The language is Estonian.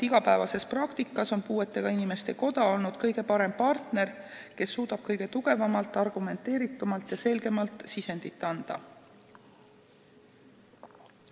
Igapäevases praktikas on puuetega inimeste koda olnud kõige parem partner, kes suudab kõige tugevamalt, argumenteeritumalt ja selgemalt sisendit anda.